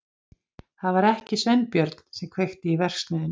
Það var ekki Sveinbjörn sem kveikti í verksmiðjunni.